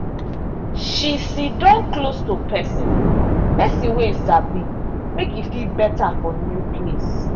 she siddon close to person person wey e sabi make e feel better for new place.